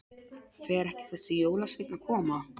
Fer ekki þessi jólasveinn að koma?